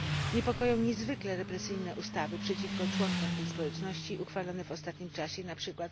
Niepokoją niezwykle represyjne ustawy przeciwko członkom tej społeczności uchwalone w ostatnim czasie np.